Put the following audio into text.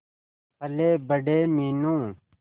पलेबड़े Meenu